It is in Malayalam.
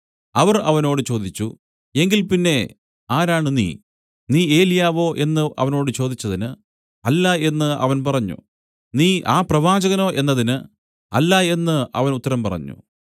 അവർ അവനോട് ചോദിച്ചു എങ്കിൽ പിന്നെ ആരാണ് നീ നീ ഏലിയാവോ എന്നു അവനോട് ചോദിച്ചതിന് അല്ല എന്നു അവൻ പറഞ്ഞു നീ ആ പ്രവാചകനോ എന്നതിന് അല്ല എന്നു അവൻ ഉത്തരം പറഞ്ഞു